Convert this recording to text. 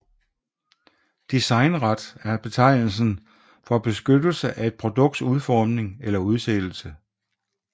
Designret er betegnelsen for beskyttelse af et produkts udforming eller udseende